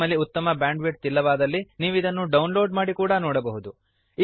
ನಿಮ್ಮಲ್ಲಿ ಉತ್ತಮ ಬ್ಯಾಂಡ್ವಿಡ್ಥ್ ಇಲ್ಲವಾದಲ್ಲಿ ನೀವಿದನ್ನು ಡೌನ್ಲೋಡ್ ಮಾಡಿ ಕೂಡಾ ನೋಡಬಹುದು